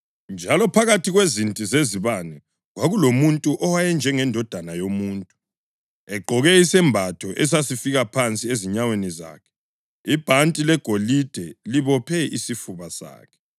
njalo phakathi kwezinti zezibane kwakulomuntu owayenjengendodana yomuntu, + 1.13 UDanyeli 7.13 egqoke isembatho esasifika phansi ezinyaweni zakhe, ibhanti legolide libophe isifuba sakhe.